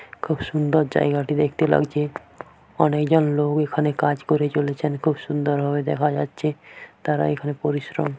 খুব সুন্দর জায়গাটি দেখতে লাগছে অনেক জন লোক এখানে কাজ করে চলেছেন খুব সুন্দর ভাবে দেখা যাচ্ছে তারা এখানে পরিশ্রম--